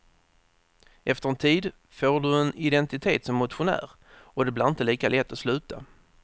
Efter en tid får du en identitet som motionär och det blir inte lika lätt att sluta.